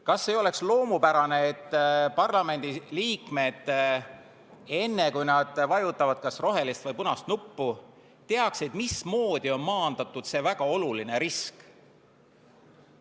Kas ei oleks loomupärane, et parlamendi liikmed, enne kui nad vajutavad kas rohelist või punast nuppu, teaksid, mismoodi on maandatud see väga oluline risk?